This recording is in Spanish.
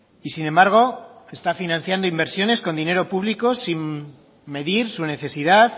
y sin embargo está financiando inversiones con dinero público sin medir su necesidad